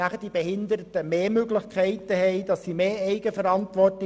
Die Behinderten haben dann mehr Möglichkeiten und mehr Eigenverantwortung.